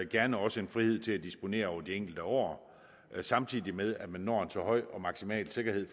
gerne også en frihed til at disponere over de enkelte år samtidig med at man når en så høj og maksimal sikkerhed